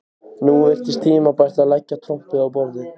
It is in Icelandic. Nú virtist tímabært að leggja trompið á borðið.